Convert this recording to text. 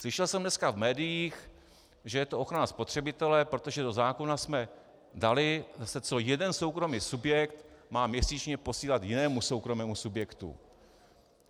Slyšel jsem dneska v médiích, že je to ochrana spotřebitele, protože do zákona jsme dali, co jeden soukromý subjekt má měsíčně posílat jinému soukromému subjektu.